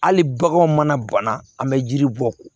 Hali baganw mana banna an bɛ yiri bɔ ko